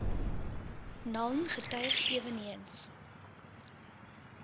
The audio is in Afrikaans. naln getuig eweneens